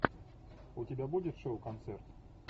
у тебя будет шоу концерт